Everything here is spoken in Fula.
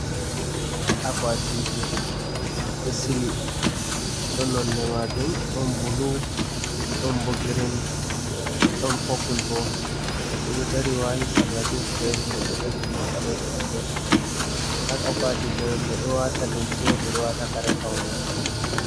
Akwaatije ɓe ɗo sili, ɗo nonde maajum ɗon bulu, ɗon bo grin, ɗon popul bo. Goɗɗo ɗo dari waati sarla jins be riiga boɗeejum, be ɓaleejum ha gefe man. Ha akwatije man ɓe ɗo waata limse, ɓe ɗo waata kare paune.